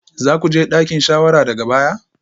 Za ku je dakin shawara daga baya?